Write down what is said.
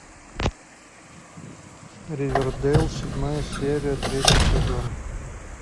ривердейл седьмая серия третий сезон